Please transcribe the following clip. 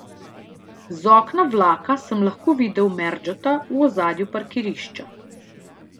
Z okna vlaka sem lahko videl merdžota v ozadju parkirišča.